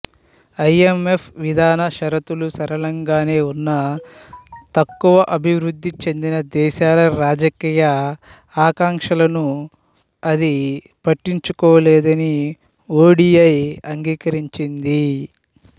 IMF విధాన షరతులు సరళంగానే ఉన్నా తక్కువ అభివృద్ధి చెందిన దేశాల రాజకీయ ఆకాంక్షలను అది పట్టించుకోలేదని ఓడిఐ అంగీకరించింది